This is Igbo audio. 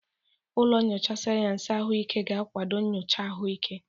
Ụlọ nyocha sayensị ahụike ga-akwado nyocha ahụike.